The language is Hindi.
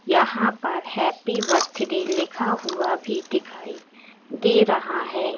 यहां पर हैप्पी बर्थडे लिखा हुआ भी दिखाई दे रहा है।